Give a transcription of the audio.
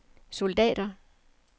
soldater